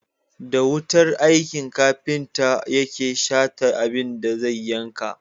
Da wukar aiki kafinta yake Shata abin da zai yanka.